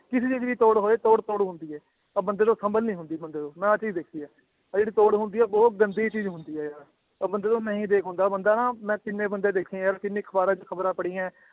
ਕਿਸੇ ਦੀ ਵੀ ਤੋੜ ਹੋਏ ਤੋੜ ਤੋੜ ਹੁੰਦੀ ਹੈ ਆਹ ਬੰਦੇ ਤੋਂ ਸੰਭਲ ਨੀ ਹੁੰਦੀ ਬੰਦੇ ਤੋਂ, ਮੈਂ ਆਹ ਚੀਜ਼ ਦੇਖੀ ਹੈ, ਆਹ ਜਿਹੜੀ ਤੋੜ ਹੁੰਦੀ ਹੈ ਬਹੁਤ ਗੰਦੀ ਚੀਜ਼ ਹੁੰਦੀ ਹੈ ਆਹ, ਉਹ ਬੰਦੇ ਤੋਂ ਨਹੀਂ ਦੇਖ ਹੁੰਦਾ ਬੰਦਾ ਨਾ ਮੈਂ ਜਿੰਨੇ ਬੰਦੇ ਦੇਖੇ ਯਾਰ ਜਿੰਨੀ ਅਖ਼ਬਾਰਾਂ ਚ ਖ਼ਬਰਾਂ ਪੜ੍ਹੀਆਂ ਹੈ